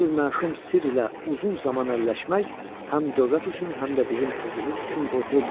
Bu cür məşum sirrlə uzun zaman əlləşmək həm dövlət üçün, həm də bizim özümüz üçün qorxuludur.